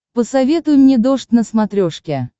посоветуй мне дождь на смотрешке